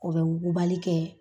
O be wugubali kɛ